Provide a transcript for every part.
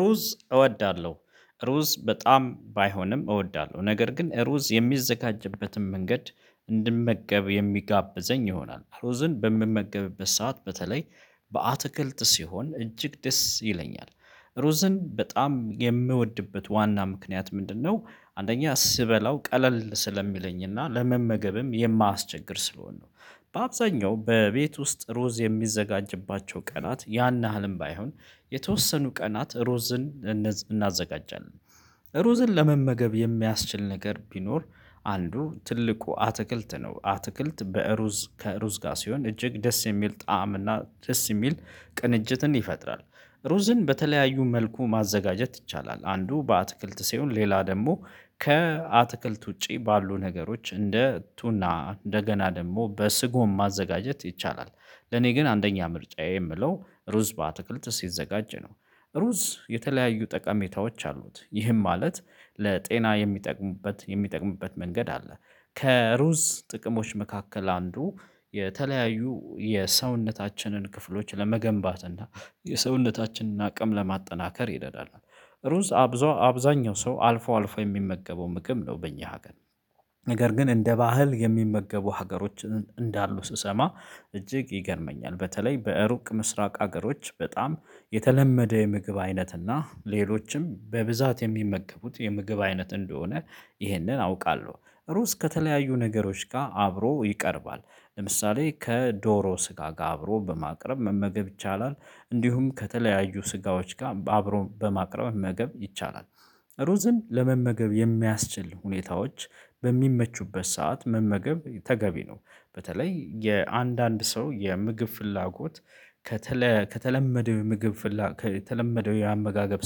ሩዝ እወዳለሁ ሩዝ በጣም ባይሆንም እወዳለሁ ነገር ግን ሩዝ የሚዘጋጅበትን መንገድ እንድመገብ የሚጋብዘኝ ይሆናል ሩዝን በምመገብበት ሰዓት በተለይ በአትክልት ሲሆን እጅግ ደስ ይለኛል ሩዝን በጣም የምወድበት ዋና ምክንያት ምንድነው? አንደኛ ስበላው ቀለል ስለሚለኝና ለመመገብም የማያስቸግር ስለሆነ ነው። በአብዛኛው በቤት ውስጥ ሩዝ የሚዘጋጅባቸው ቀናት ያን ያህልም ባይሆን የተወሰኑ ቀናት ሩዝን እናዘጋጃለን። ሩዝን ለመመገብ የሚያስችል ነገር ቢኖር አንዱ ትልቁ አትክልት ነው አትክልት በሩዝ ከሩዝ ጋር ሲሆን እጅግ ደስ የሚል ጣዕም እና ደስ የሚል ቅንጅትን ይፈጥራል። ሩዝን በተለያዩ መልኩ ማዘጋጀት ይቻላል። አንዱ በአትክልት ሲሆን ሌላ ደግሞ ከአትክልት ውጪ ባሉ ነገሮች እንደ እግቱና እንደገና ደግሞ በስጎም ማዘጋጀት ይቻላል። ለኔ ግን አንደኛ ምርጫዬ የምለው ሩዝ በአትክልት ሲዘጋጅ ነው። ሩዝ የተለያዩ ጠቀሜታዎች አሉት ይህም ማለት ለጤና የሚጠቅሙበት የሚጠቅሙበት መንገድ አለ። ከሩዝ ጥቅሞች መካከል አንዱ የተለያዩ የሰውነታችንን ክፍሎች ለመገንባት እና የሰውነታችንን አቅም ለማጠናከር ይደዳል። ሩዝ አብዛኛው ሰው አልፎ አልፎ የሚመገበው ምግብ ነው በእኛ ሀገር ነው። ነገር ግን እንደ ባህል የሚመገቡ ሀገሮችን እንዳሉ ስሰማ እጅግ ይገርመኛል። በተለይ በሩቅ ምስራቅ ሀገሮች በጣም የተለመደ የምግብ አይነት እና ሌሎችም በብዛት የሚመገቡት የምግብ አይነት እንደሆነ። ይህንን አውቃለሁ ሩስ ከተለያዩ ነገሮች ጋር አብሮ ይቀርባል። ለምሳሌ ከዶሮ ስጋ ጋር አብሮ በማቅረብ መመገብ ይቻላል። እንዲሁም ከተለያዩ ስጋዎች ጋር አብሮ በማቅረብ መመገብ ይቻላል። ሩዝን ለመመገብ የሚያስችል ሁኔታዎች በሚመቹበት ሰዓት መመገብ ተገቢ ነው። በተለይ የአንዳንድ ሰው የምግብ ፍላጎት ከተለ ከተለመደው የምግብ ፍላጎት የተለመደው የአመጋገብ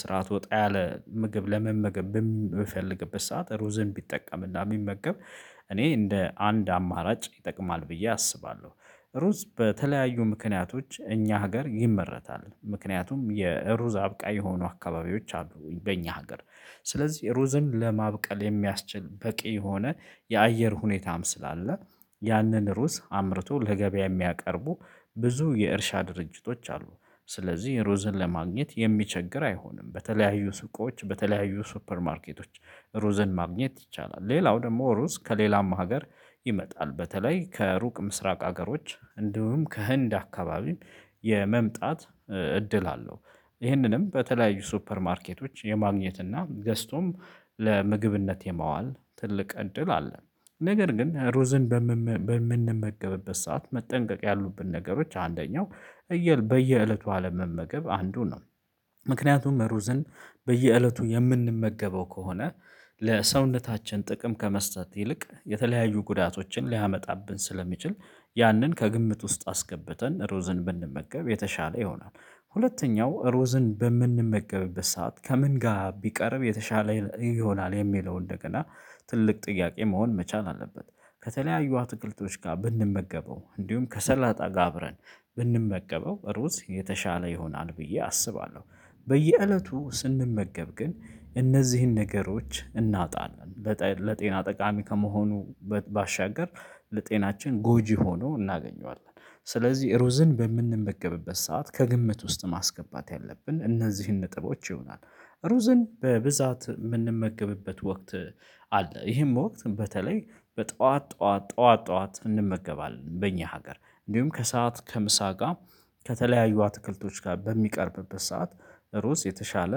ስርዓት ወጣ ያለ ምግብ ለመመገብ በምፈልግበት ሰዓት ሩዝን ቢጠቀምና ቢመገብ እኔ እንደ አንድ አማራጭ ይጠቅማል ብዬ አስባለሁ። ሩዝ በተለያዩ ምክንያቶች እኛ ሀገር ይመረታል ምክንያቱም የሩዝ አብቃይየሆኑ አካባቢዎች አሉኝ በኛ ሀገር። ስለዚህ ሩዝን ለማብቀል የሚያስችል በቂ የሆነ የአየር ሁኔታም ስላለ ያንን ሩዝ አምርቶ ለገበያ የሚያቀርቡ ብዙ የእርሻ ድርጅቶች አሉ። ስለዚህ ሩዝን ለማግኘት የሚቸግር አይሆንም። በተለያዩ ስቆች በተለያዩ ሱፐር ማርኬቶች ሩዘን ማግኘት ይቻላል። ሌላው ደግሞ ሩዝ ከሌላም ሀገር ይመጣል በተለይ ከሩቅ ምስራቅ ሀገሮች እንዲሁም ከህንድ አካባቢ የመምጣት እድል አለው። ይህንንም በተለያዩ ሱፐር ማርኬቶች የማግኘት እና ገዝቶም ለምግብነት የማዋል ትልቅ እድል አለ። ነገር ግን ሩዝን በምመ በምንመገብበት ሰዓት መጠንቀቅ ያሉብን ነገሮች አንደኛው እየ በየእለቱ አለም መመገብ አንዱን ነው። ምክንያቱም ሩዝን በየእለቱ የምንመገበው ከሆነ ለሰውነታችን ጥቅም ከመስጠት ይልቅ የተለያዩ ጉዳቶችን ሊያመጣብን ስለሚችል ያንን ከግምት ውስጥ አስገብተን ሩዝን ብንመገብ የተሻለ ይሆናል። ሁለተኛው ሩዝን በምንመገብበት ሰዓት ከምን ጋር ቢቀርብ የተሻለ ይሆናል የሚለው እንደገና ትልቅ ጥያቄ መሆን መቻል አለበት። ከተለያዩ አትክልቶች ጋር ብንመገበው እንዲሁም ከሰላጣ ጋር አብረን ብንመገበው ሩዝ የተሻለ ይሆናል ብዬ አስባለሁ። በየእለቱ ስንመገብ ግን እነዚህን ነገሮች እናጣለን ለጤና ጠቃሚ ከመሆኑ ባሻገር ለጤናችን ጎጂ ሆኖ እናገኘዋለን ስለዚህ ሩዝን በምንመገብበት ሰዓት ከግምት ውስጥ ማስገባት ያለብን እነዚህን ነጥቦች ይሆናል። ሩዝን በብዛት የምንመገብበት ወቅት አለ ይሄም ወቅት በተለይ በጧት ጧት ጧት ጧት እንመገባለን በእኛ ሀገር እንዲሁም ከሰአት ከምሳ ጋር ከተለያዩ አትክልቶች ጋር በሚቀርብበት ሰዓት ሩዝ የተሻለ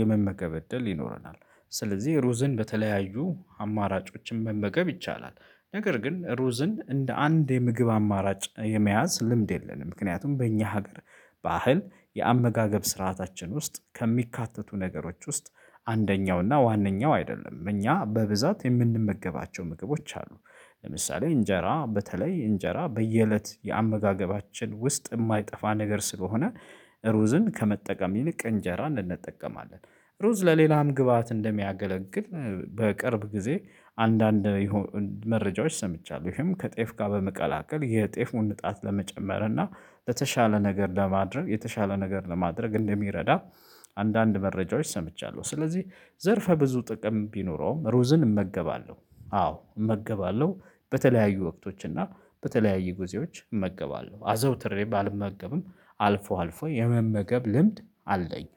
የመመገብ እድል ይኖረናል። ስለዚህ ሩዝን በተለያዩ አማራጮችን መመገብ ይቻላል። ነገር ግን ሩዝን እንደ አንድ የምግብ አማራጭ የመያዝ ልምድ የለንም ምክንያቱም በእኛ ሀገር ባህል የአመጋገብ ስርዓታችን ውስጥ ከሚካተቱ ነገሮች ውስጥ አንደኛው እና ዋነኛው አይደለም እኛ በብዛት የምንመገባቸው ምግቦች አሉ። ለምሳሌ እንጀራ በተለይ እንጀራ በየእለት የአመጋገባችን ውስጥ የማይጠፋ ነገር ስለሆነ ሩዝን ከመጠቀም ይልቅ እንጀራ እንጠቀማለን። ሩዝ ለሌላም ግብአት እንደሚያገለግል በቅርብ ጊዜ አንዳንድ የሆኑ መረጃዎች ሰምቻለሁ። ይሄም ከጤፍ ጋር በመቀላቀል የጤፍ ሙን እጣት ለመጨመር እና ለተሻለ ነገር ለማድረግ የተሻለ ነገር ለማድረግ እንደሚረዳ አንዳንድ መረጃዎች ሰምቻለሁ። ስለዚህ ዘርፈ ብዙ ጥቅም ቢኖረውም ሩዝን እመገባለሁ አዎ እመገባለሁ። በተለያዩ ወቅቶች እና በተለያዩ ጊዜዎች እመገባለሁ አዘውትሬ ባልመገብም አልፎ አልፎ የመመገብ ልምድ አለኝ።